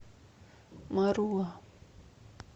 маруа